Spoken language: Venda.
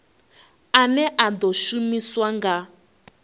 ane a ḓo shumiswa nga